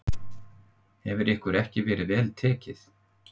Hefur ykkur ekki verið vel tekið?